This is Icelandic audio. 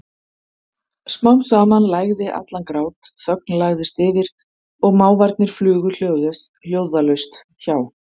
Smám saman lægði allan grát, þögn lagðist yfir og máfarnir flugu hljóðalaust hjá.